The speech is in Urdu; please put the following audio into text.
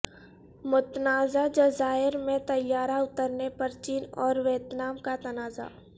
متنازع جزائر میں طیارہ اتارنے پر چین اور ویتنام کا تنازع